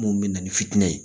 Mun bɛ na ni fitinɛ ye